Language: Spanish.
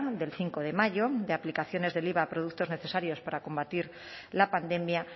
del cinco de mayo de aplicaciones del iva a productos necesarios para combatir la pandemia